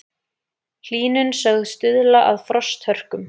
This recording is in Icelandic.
Hlýnun sögð stuðla að frosthörkum